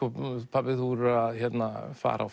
pabbi þú verður að fara á